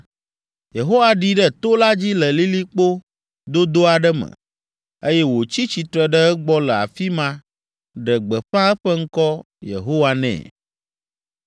Yehowa ɖi ɖe to la dzi le lilikpo dodo aɖe me, eye wòtsi tsitre ɖe egbɔ le afi ma ɖe gbeƒã eƒe ŋkɔ Yehowa nɛ.